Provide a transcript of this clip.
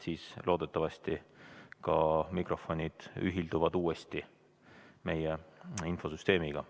Siis loodetavasti ka mikrofonid ühilduvad uuesti meie infosüsteemiga.